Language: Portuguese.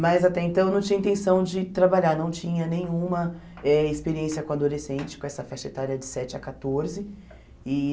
Mas até então eu não tinha intenção de trabalhar, não tinha nenhuma eh experiência com adolescente, com essa festa etária de sete a quatorze. E